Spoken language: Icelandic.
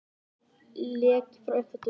Leki frá uppþvottavél